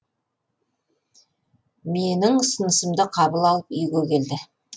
менің ұсынысымды қабыл алып үйге келді